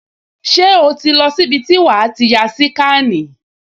Ṣé o ti ń lọ sí ibi tí wàá ti ya síkànì?